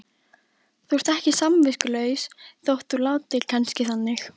Þú ert ekki samviskulaus þótt þú látir kannski þannig.